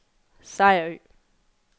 Sejerø